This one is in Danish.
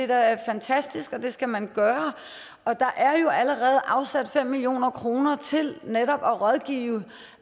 da fantastisk og det skal man gøre og der er jo allerede afsat fem million kroner til netop at rådgive